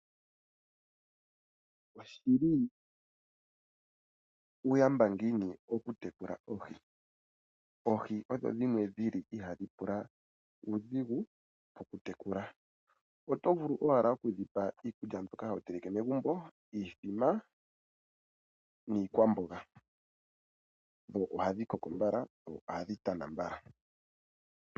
Oshi li uuyamba ngiini okutekula oohi! Oohi odho dhimwe ihaadhi pula uudhigu okutekula. Oto vulu owala okudhi pa iikulya mbyoka ho teleke megumbo ngaashi iithima niikwamboga. Ohadhi koko mbala dho ohadhi tana mbala.